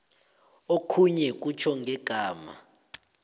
okhunye kutjho ngegama